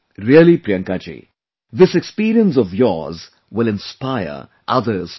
Really Priyanka ji, this experience of yours will inspire others too